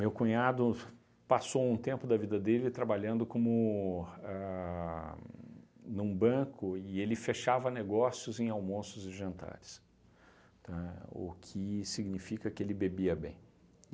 Meu cunhado passou um tempo da vida dele trabalhando como a num banco e ele fechava negócios em almoços e jantares, tá, o que significa que ele bebia bem.